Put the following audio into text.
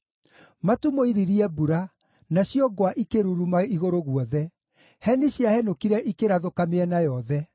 Matu mooiririe mbura, nacio ngwa ikĩruruma igũrũ guothe; heni ciahenũkire ikĩrathũka mĩena yothe